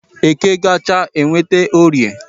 Eke gachaa enweta orie